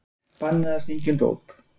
Bannað að syngja um dóp